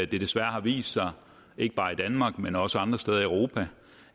desværre vist sig ikke bare i danmark men også andre steder i europa